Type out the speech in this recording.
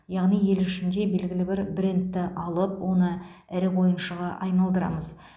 яғни ел ішінде белгілі бір брендті алып оны ірі ойыншыға айналдырамыз